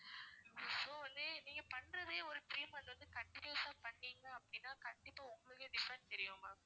so வந்து நீங்க பண்றதே ஒரு three month வந்து continuous ஆ பண்ணீங்க அப்படின்னா கண்டிப்பா உங்களுக்கே different தெரியும் ma'am